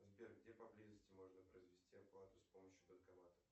сбер где поблизости можно произвести оплату с помощью банкомата